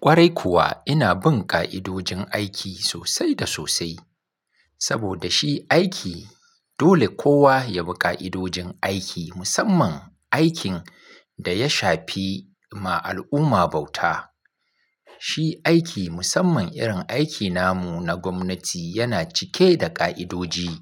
Kwarai kuwa ina bin ƙa'idojin aiki sosai da sosai. Saboda shi aiki, dole kowa ya bi ƙa'idojin aiki musamman aikin da ya shafi ma al'umma bauta. Shi aiki musamman irin aiki namu na gwamnati yana cike da ƙa'idoji,